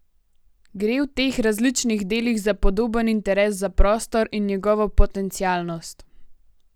Gre v teh različnih delih za podoben interes za prostor in njegovo potencialnost?